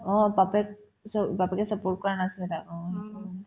অ, বাপেক পিছত বাপেকে support কৰা নাছিলে তাক অ অ